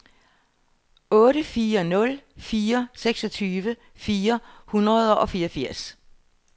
otte fire nul fire seksogtyve fire hundrede og fireogfirs